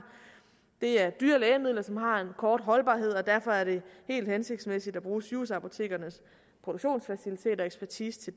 det er dyre lægemidler som har en kort holdbarhed og derfor er det helt hensigtsmæssigt at bruge sygehusapotekernes produktionsfaciliteter og ekspertise til